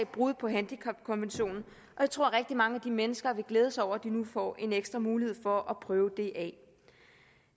brud på handicapkonventionen og jeg tror mange af de mennesker vil glæde sig over at de nu får en ekstra mulighed for at prøve det